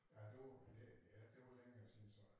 Ja det var lidt ja det var længere siden så